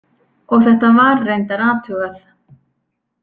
Og þetta var reyndar athugað.